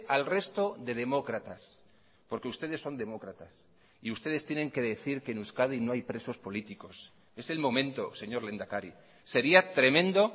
al resto de demócratas porque ustedes son demócratas y ustedes tienen que decir que en euskadi no hay presos políticos es el momento señor lehendakari sería tremendo